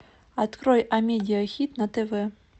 открой амедиа хит на тв